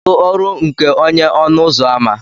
kedu ọrụ nke onye ọnụ ụzọ ámá